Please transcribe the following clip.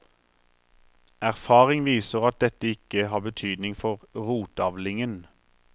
Erfaring viser at dette ikke har betydning for rotavlingen.